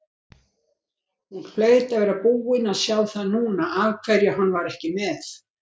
Hún hlaut að vera búin að sjá það núna af hverju hann var ekki með.